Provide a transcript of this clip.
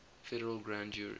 federal grand jury